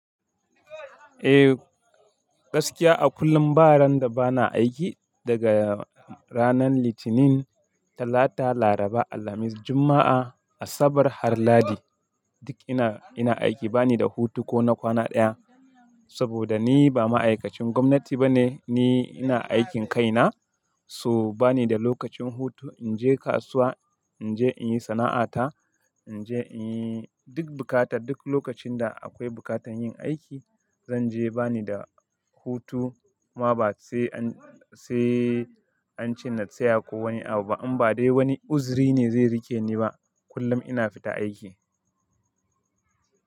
Eh, gaskiya a kullum baran da bana aiki daga ranar Litinin, Talata, Laraba, Alhamis, Juma'a, Asabar har Lahadi duk ina, ina aiki bani da hutu ko na kwana ɗaya. Saboda ni ba ma'aikacin gwamnati ba ne, ni ina aikin kaina, so ba ni da lokacin hutu in je kasuwa, in je in yi sana'ata, in je in yi duk bukata, duk lokacin da akwai bukatan yin aiki zan je bani da hutu. Ma ba sai an, sai an ce na tsaya ko wani abu ba. An ba dai wani uzri ne zai rike ni ba, kullum ina fita aiki.